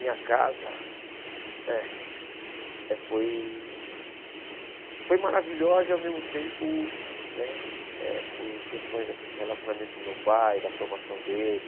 Minha casa é é foi foi maravilhosa e, ao mesmo tempo, né eh por questões assim de relacionamento do meu pai, da formação dele...